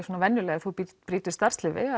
venjulega ef þú brýtur starfsleyfi